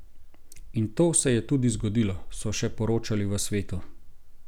In to se je tudi zgodilo, so še poročali v Svetu.